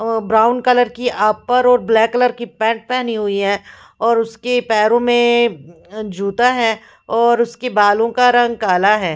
और brown colour की upper और ब्लैक कलर की पेंट पहनी हुई है और उसके पेरो में जूता है और उसके बालो का रंग काला है।